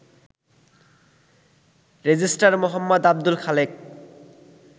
Registrar Md. Abdul Khalek